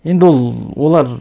енді ол олар